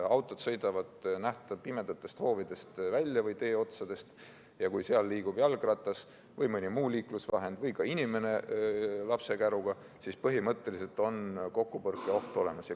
Autod sõidavad pimedatest hoovidest või teeotstest välja ja kui seal liigub jalgratas või mõni muu liiklusvahend või inimene lapsekäruga, siis põhimõtteliselt on kokkupõrke oht olemas.